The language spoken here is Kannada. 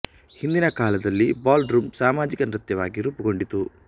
ಹಿಂದಿನ ಕಾಲದಲ್ಲಿ ಬಾಲ್ ರೂಂ ಸಾಮಾಜಿಕ ನೃತ್ಯ ವಾಗಿ ರೂಪುಗೊಂಡಿತು